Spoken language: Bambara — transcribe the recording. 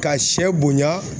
Ka sɛ bonya